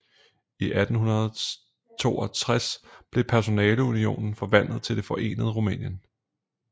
I 1862 blev personalunionen forvandlet til det forenede Rumænien